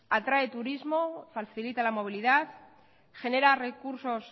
atrae turismo facilita la movilidad genera recursos